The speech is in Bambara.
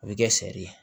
O bɛ kɛ sɛri ye